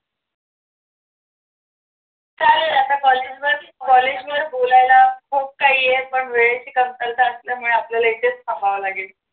चालेल आता कॉलेज वर बोलायला खूप काही आहे पण वेळेची कमतरता असल्यामुळे आपल्याला इथेच थांबावे लागेल.